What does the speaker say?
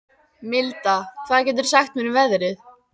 Milda, hvað geturðu sagt mér um veðrið?